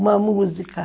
Uma música.